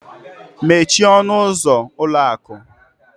Mechie ọnụ ụzọ ụlọ akụ!